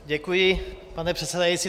Děkuji, pane předsedající.